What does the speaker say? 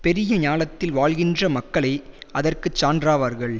பெரிய ஞாலத்தில் வாழ்கின்ற மக்களே அதற்கு சான்றாவார்கள்